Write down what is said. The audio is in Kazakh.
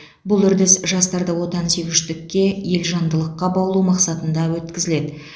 бұл үрдіс жастарды отансүйгіштікке елжандылыққа баулу мақсатында өткізіледі